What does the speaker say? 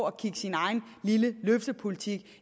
at kigge sin egen lille løftepolitik